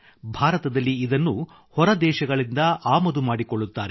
ಭಾರತದಲ್ಲಿ ಇದನ್ನು ಹೊರದೇಶಗಳಿಂದ ಆಮದು ಮಾಡಿಕೊಳ್ಳುತ್ತಾರೆ